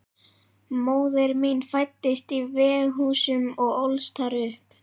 Móðir mín fæddist í Veghúsum og ólst þar upp.